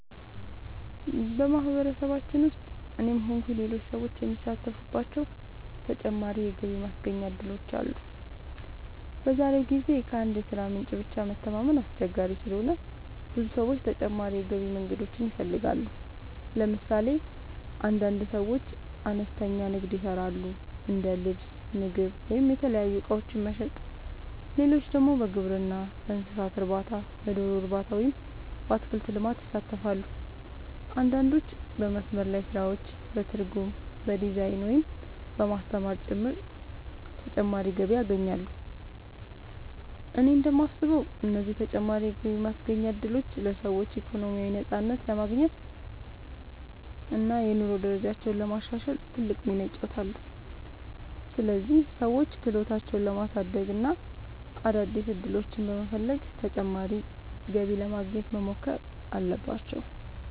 በማህበረሰባችን ውስጥ እኔም ሆንኩ ሌሎች ሰዎች የሚሳተፉባቸው ተጨማሪ የገቢ ማስገኛ እድሎች አሉ። በዛሬው ጊዜ ከአንድ የሥራ ምንጭ ብቻ መተማመን አስቸጋሪ ስለሆነ ብዙ ሰዎች ተጨማሪ የገቢ መንገዶችን ይፈልጋሉ። ለምሳሌ አንዳንድ ሰዎች አነስተኛ ንግድ ይሰራሉ፤ እንደ ልብስ፣ ምግብ ወይም የተለያዩ እቃዎች መሸጥ። ሌሎች ደግሞ በግብርና፣ በእንስሳት እርባታ፣ በዶሮ እርባታ ወይም በአትክልት ልማት ይሳተፋሉ። አንዳንዶች በመስመር ላይ ስራዎች፣ በትርጉም፣ በዲዛይን፣ ወይም በማስተማር ጭምር ተጨማሪ ገቢ ያገኛሉ። እኔ እንደማስበው እነዚህ ተጨማሪ የገቢ ማስገኛ እድሎች ለሰዎች ኢኮኖሚያዊ ነፃነት ለማግኘት እና የኑሮ ደረጃቸውን ለማሻሻል ትልቅ ሚና ይጫወታሉ። ስለዚህ ሰዎች ክህሎታቸውን በማሳደግ እና አዳዲስ ዕድሎችን በመፈለግ ተጨማሪ ገቢ ለማግኘት መሞከር አለባቸው።